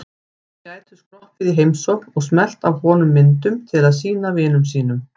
Þeir gætu skroppið í heimsókn og smellt af honum myndum til að sýna vinum sínum.